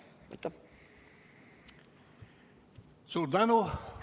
Suur tänu!